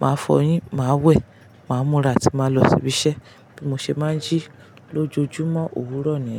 màá fọyín, màá wẹ̀, màá múra atí màá lọ síbi iṣẹ́. Bí mo ṣe máa ń jí lójoojúmọ́ òwúrò ni.